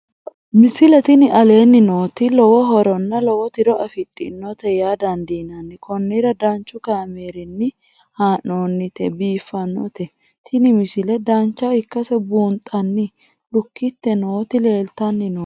misile tini aleenni nooti lowo horonna lowo tiro afidhinote yaa dandiinanni konnira danchu kaameerinni haa'noonnite biiffannote tini misile dancha ikkase buunxanni lukkite nooti leeltanni nooe